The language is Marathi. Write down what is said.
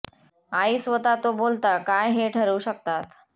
आई स्वतः तो बोलता काय हे ठरवू शकतात